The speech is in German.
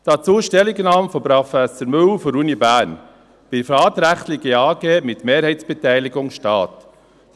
Dazu die Stellungnahme von Professor Müller der Universität Bern: «Privatrechtliche AG mit Mehrheitsbeteiligung Staat».